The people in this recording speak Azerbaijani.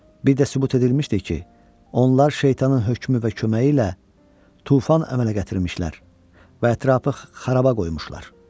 Bir də sübut edilmişdir ki, onlar şeytanın hökmü və köməyi ilə tufan əmələ gətirmişlər və ətrafı xarabaya qoymuşlar.